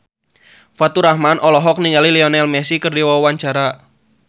Faturrahman olohok ningali Lionel Messi keur diwawancara